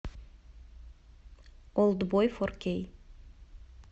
олдбой фор кей